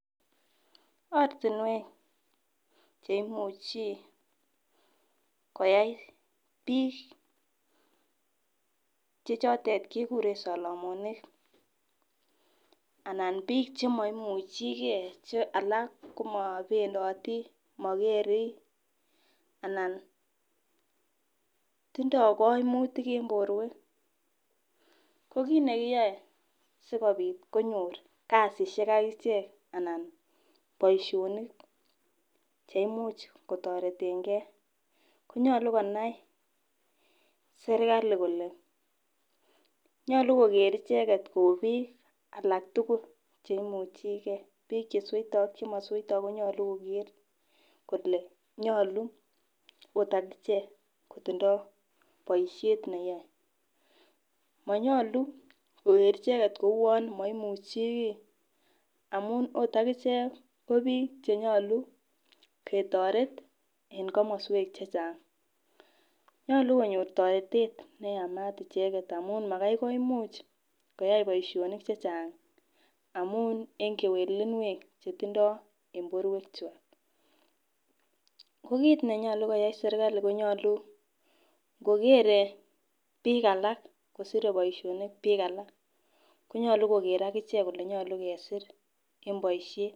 Ortinwek cheimuchi koyai bik che chotet kekuren solomonik anan bik chemoimuchi gee che alak komopendoti, mokeri anan tindo koimutik en borwek, ko kit nekiyoe sikopit konyor kasishek ak ichek anan boishonik cheimuch kotoretin gee konyoluu konai serikali kole nyolu koker icheket kou bik alak tukuk cheimuchigee, bik chesweito ak chemosweito konyolu koker kole nyolu ot akichek kotindo boishet neyoe. Monyolu koker icheket kouwon moimuchi kii amun it akichek ko bik chenyolu ketoret en komoswek chechang. Nyolu konyor toretet neyamat icheket amun Makai koimuch koyai boishonik chechang amun en kewelunwek cherindoi en borwek kwak. Ko kit nenyolu koyai sirkali konyolu nkokere bik alak kosire boishoni bik alak konyolu koker akichek kole nyolu kesir en boishet.